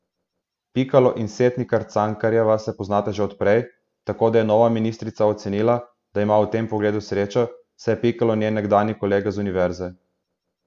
Pikalo in Setnikar Cankarjeva se poznata že od prej, tako da je nova ministrica ocenila, da ima v tem pogledu srečo, saj je Pikalo njen nekdanji kolega z univerze.